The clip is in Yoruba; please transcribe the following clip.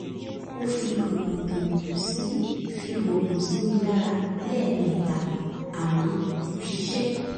ó fi oògùn sí fi oògùn sí mi lára lẹ́ẹ̀mẹta àmọ́ kò ṣiṣẹ́